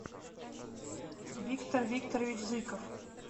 виктор викторович зыков